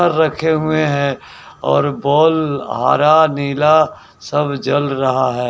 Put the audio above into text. Ball रखे हुए हैं और बॉल हरा नीला सब जल रहा है।